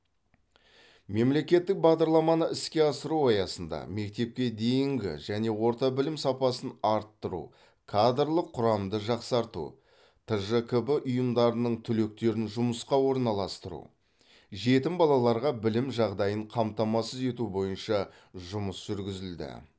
мемлекеттік бағдарламаны іске асыру аясында мектепке дейінгі және орта білім сапасын арттыру кадрлық құрамды жақсарту тжкб ұйымдарының түлектерін жұмысқа орналастыру жетім балаларға білім жағдайын қамтамасыз ету бойынша жұмыс жүргізілді